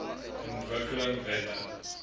ontwikkelingwette